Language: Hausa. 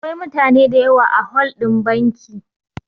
Akwai mutane da yawa a hol ɗin banki